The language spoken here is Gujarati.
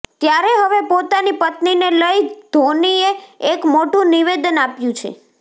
ત્યારે હવે પોતાની પત્નીને લઈ ધોનીએ એક મોટું નિવેદન આપ્યું છે